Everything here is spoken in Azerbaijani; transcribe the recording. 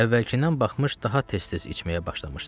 Əvvəlkindən baxmış daha tez-tez içməyə başlamışdı.